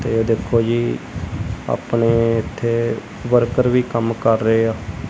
ਤੇ ਇਹ ਦੇਖੋ ਜੀ ਆਪਣੇ ਇਥੇ ਵਰਕਰ ਵੀ ਕੰਮ ਕਰ ਰਹੇ ਅ।